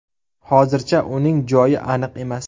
Hozircha uning joyi aniq emas.